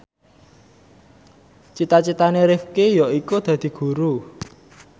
cita citane Rifqi yaiku dadi guru